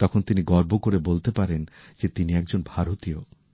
তখন তিনি গর্ব করে বলতে পারেন যে তিনি একজন ভারতীয়